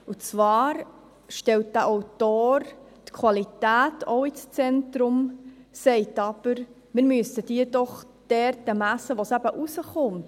Und zwar stellt der Autor die Qualität ins Zentrum, sagt aber, dass man diese dort messen soll, wo sie hinauskommt.